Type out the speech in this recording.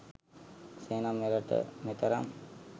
එසේ නම් මෙරට මෙතරම්